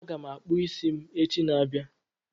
Aga m akpụ isi m echi n'abia abịa.